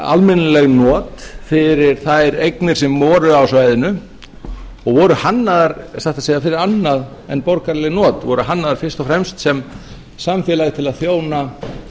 almennileg not fyrir þær eignir sem voru á svæðinu og voru hannaðar satt að segja fyrir annað en borgaraleg not voru hannaðar fyrst og fremst sem samfélag til að þjóna